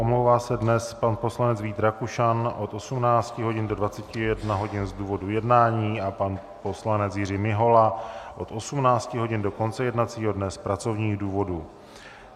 Omlouvá se dnes pan poslanec Vít Rakušan od 18 hodin do 21 hodin z důvodu jednání a pan poslanec Jiří Mihola od 18 hodin do konce jednacího dne z pracovních důvodů.